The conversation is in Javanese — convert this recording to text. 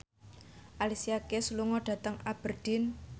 Alicia Keys lunga dhateng Aberdeen